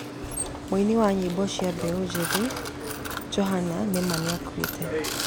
Muĩnĩ wa nyimbo cĩa mbeũ njithĩ Johanna nĩ ma nĩakũĩte